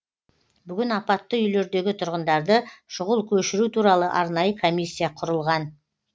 бүгін апатты үйлердегі тұрғындарды шұғыл көшіру туралы арнайы комиссия құрылған